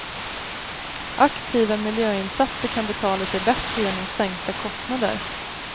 Aktiva miljöinsatser kan betala sig bättre genom sänkta kostnader.